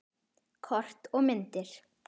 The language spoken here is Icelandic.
Kort og myndir